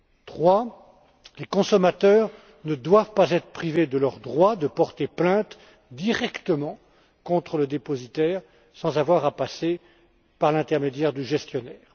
Troisièmement, les consommateurs ne doivent pas être privés de leur droit de porter plainte directement contre le dépositaire, sans avoir à passer par l'intermédiaire du gestionnaire.